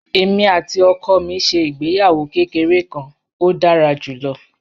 Èmi àti ọkọ mi ṣe ìgbéyàwó kékeré kan, ó dára jù lọ